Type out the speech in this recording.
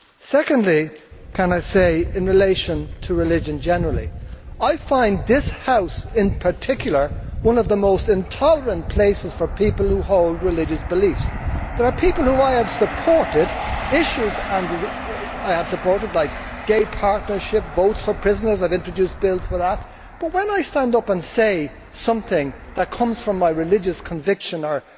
Secondly, can I say in relation to religion generally that I find this House in particular one of the most intolerant places for people who hold religious beliefs. There are people whom I have supported and issues I have supported like gay partnership, votes for prisoners I have introduced bills for that but when I stand up and say something that comes from my religious conviction